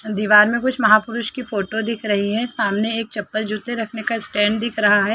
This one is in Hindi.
दीवार में कुछ महापुरुष की फोटो दिख रही है सामने एक चप्पल जूते रखने का स्टैंड दिख रहा है।